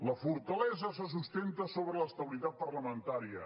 la fortalesa se sustenta sobre l’estabilitat parlamentària